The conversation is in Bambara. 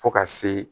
Fo ka se